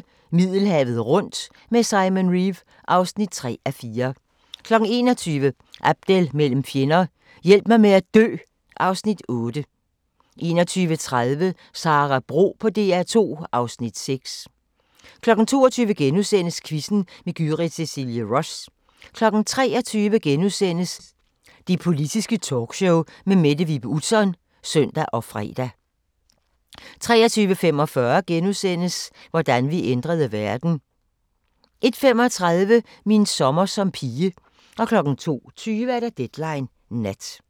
20:00: Middelhavet rundt med Simon Reeve (3:4) 21:00: Abdel mellem fjender – Hjælp mig med at dø (Afs. 8) 21:30: Sara Bro på DR2 (Afs. 6) 22:00: Quizzen med Gyrith Cecilie Ross * 23:00: Det Politiske Talkshow med Mette Vibe Utzon *(søn og fre) 23:45: Hvordan vi ændrede verden! * 01:35: Min sommer som pige 02:20: Deadline Nat